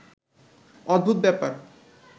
অদ্ভুত ব্যাপার